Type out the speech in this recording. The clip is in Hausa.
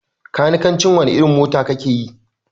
Kanikanci wani irin mota kakeyi?